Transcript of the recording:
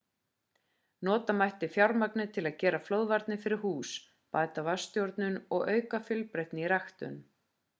nota mætti fjármagnið til að gera flóðvarnir fyrir hús bæta vatnsstjórnun og auka í fjölbreytni í ræktun